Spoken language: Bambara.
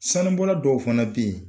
Sanu bɔla dɔw fana bɛ yen